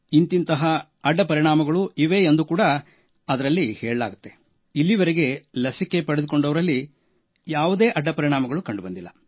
ಇಂತಿಂಥ ಅಡ್ಡ ಪರಿಣಾಮಗಳು ಇವೆ ಎಂದು ಹೇಳಲಾಗುತ್ತಿದ್ದರೂ ಇಲ್ಲಿಯವರೆಗೆ ಲಸಿಕೆ ಪಡೆದುಕೊಂಡವರಲ್ಲಿ ಯಾವುದೇ ಅಡ್ಡ ಪರಿಣಾಮಗಳು ಕಂಡುಬಂದಿಲ್ಲ